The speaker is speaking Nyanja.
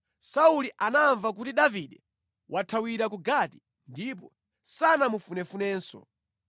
Sauli anamva kuti Davide wathawira ku Gati, ndipo sanamufunefunenso.